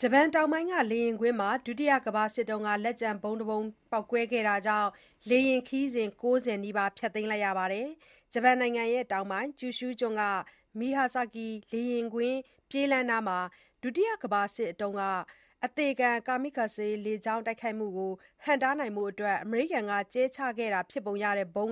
ဂျပန်တောင်ပိုင်းက လေယာဉ်ကွင်းမှာ ဒုတိယကမ္ဘာစစ် လက်ကျန် ဗုံးပေါက်ကွဲတာကြောင့် လေယာဉ်ခရီးစဉ် ၉၀ နီးပါး ဖျက်သိမ်းလိုက်ရပါတယ်။ ဂျပန်နိုင်ငံတောင်ပိုင်း ကျူရှူးကျွန်းက Myazaki မြို့ လေယာဉ်ကွင်းပြေးလမ်းနားမှာ၊ ဒုတိယကမ္ဘာစစ်အတွင်းတုန်းက အသေခံ Kamikaze လေကြောင်း တိုက်ခိုက်မှုကို ဟန့်တားဖို့ အမေရိကန်က ကြဲချခဲ့တာဖြစ်ပုံရတဲ့ဗုံး